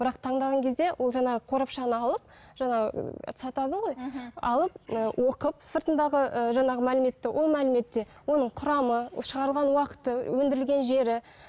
бірақ таңдаған кезде ол жаңағы қорапшаны алып жаңа сатады ғой мхм алып ы оқып сыртындағы ыыы жаңағы мәліметті ол мәліметте оның құрамы шығарған уақыты өндірілген жері